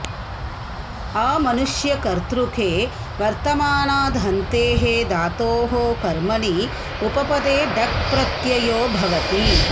अमनुष्यकर्तृके वर्तमानाद् हन्तेः धातोः कर्मणि उपपदे टक् प्रत्ययो भवति